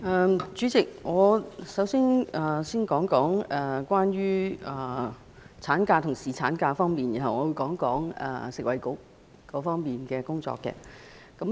代理主席，我先說說關於產假和侍產假方面的事宜，然後會就食物及衞生局的工作發言。